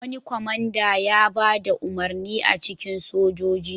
Wani kwamanda ya ba da umarni a cikin sojoji.